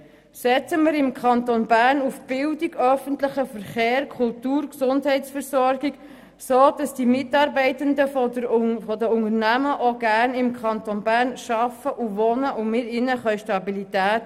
Setzen wir im Kanton Bern auf Bildung, öffentlichen Verkehr, Kultur und Gesundheitsversorgung, damit die Mitarbeitenden der Unternehmen auch gerne im Kanton Bern arbeiten und wohnen, und bieten wir ihnen Stabilität.